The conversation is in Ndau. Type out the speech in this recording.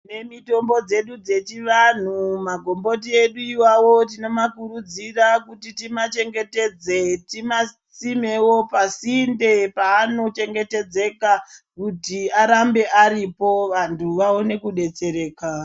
Tine mitombo dzedu dzechivanhu, magomboti edu iwawo tino makurudzira kuti tima chengetedze timasimewo pasinde paano chengetedzeka kuti arambe aripo vanthu vaone kudetsereka.